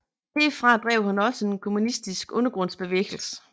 Herfra drev han også en kommunistisk undergrundsbevægelse